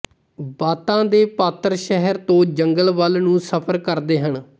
ਬਾਤਾਂ ਦੇ ਪਾਤਰ ਸ਼ਹਿਰ ਤੋਂ ਜੰਗਲ ਵੱਲ ਨੂੰ ਸਫਰ ਕਰਦੇ ਹਨ